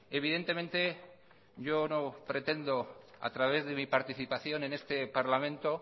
evidentemente yo no pretendo a través de mi participación en este parlamento